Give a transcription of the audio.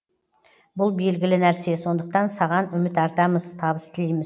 бұл белгілі нәрсе сондықтан саған үміт артамыз табыс тілейміз